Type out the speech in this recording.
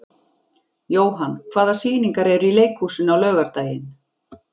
Jóann, hvaða sýningar eru í leikhúsinu á laugardaginn?